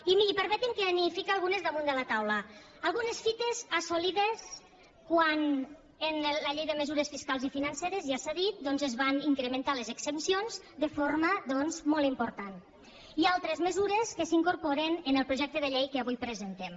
i permeti’m que n’hi fique algunes damunt de la taula algunes fites assolides quan en la llei de mesures fiscals i financeres ja s’ha dit doncs es van incrementar les exempcions de forma molt important i altres mesures que s’incorporen en el projecte de llei que avui presentem